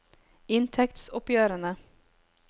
inntektsoppgjørene